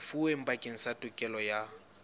lefuweng bakeng sa tokelo ya